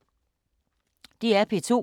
DR P2